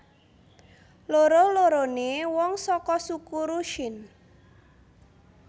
Loro loroné wong saka suku Rusyn